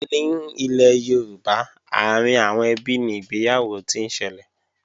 Ní ilẹ̀ Yorùbá, àárín àwọn ẹbí ni ìgbéyàwó ti ń ṣẹlẹ̀